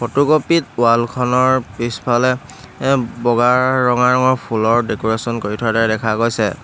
Photocopy ত wall খনৰ পিছফালে এ বগা ৰঙা ৰঙৰ ফুলৰ ডেক'ৰেচন কৰি থোৱাৰ দৰে দেখা গৈছে।